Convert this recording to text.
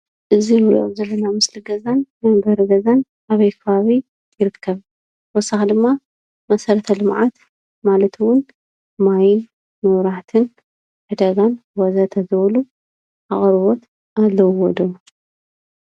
እዚ እንሪኦ ዘለና ምሰሊ ገዛን መንበሪ ገዛን ኣበይ ከባቢ ይርከብ? ብተወሳኪ ድማ መሰረተ ልምዓት ማለት እውን ማይ፣ መብራህቲን ዕዳጋን ወዘተ ዝበሉ አቅርቦት ኣለውዎ ዶ?